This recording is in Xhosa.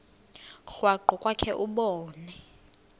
krwaqu kwakhe ubone